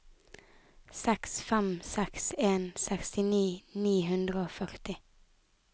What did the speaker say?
seks fem seks en sekstini ni hundre og førti